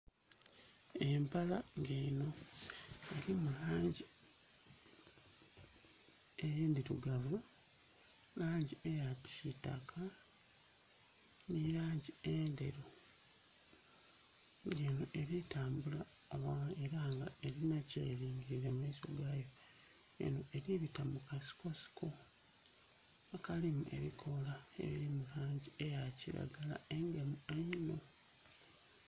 Empala nga eno erimu langi edhirugavu, langi eyakisitaka nilangi endheru nga eno eri tambula era nga erina kyeringirire mumaiso gayo eno eribita mukasikosiko akalimu ebikoola ebiri mulangi eyakiragala engemu einho.